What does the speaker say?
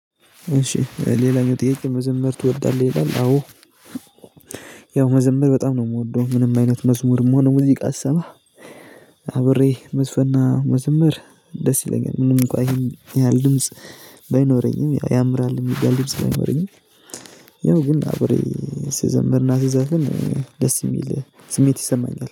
እሺ ሌላኛው ጥያቄ መዘመር ትወዳለህ ይላል? አዎ ያው መዘመር በጣም ነው የምወደው። ምንም አይነት መዝሙርም ሆነ ሙዚቃ ስሰማ። አብሬ መዝፈንና መዘመር ደስ ይለኛል። ምንም እንኳ ይሄን ያህል ድምጽ ባይኖረኝም ያምራል የሚባል ድምጽ ባይኖረኝም። ያው ግን አብሬ ስዘምርና ስዘፍን ደስ የሚል ስሜት ይሰማኛል